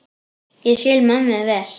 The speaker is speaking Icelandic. Ég skil mömmu vel.